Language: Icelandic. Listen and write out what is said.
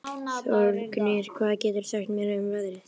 Þórgnýr, hvað geturðu sagt mér um veðrið?